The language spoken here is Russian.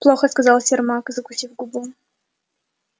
плохо сказал сермак закусив губу